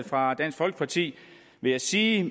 fra dansk folkeparti vil jeg sige